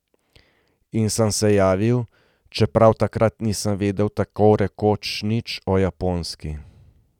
In sem se javil, čeprav takrat nisem vedel tako rekoč nič o Japonski.